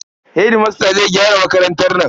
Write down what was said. Hedimasta zai gyara makarantar nan.